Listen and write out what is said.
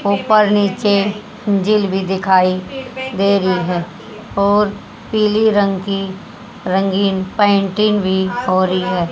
ऊपर नीचे झील भी दिखाई दे रही है और पीलि रंग की रंगीन पेंटिंग भी हो रही है।--